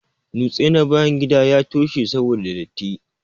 Nutse na bayan gida ya toshe saboda datti.